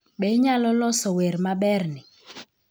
Be Inyalo Loso Wer Maberni?